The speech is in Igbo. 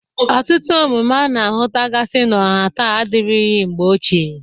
Ọtụtụ omume a na-ahụtagasị n'ọha taa adịrịghị mgbe ochie.